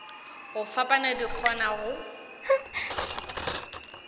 go fapana di kgona go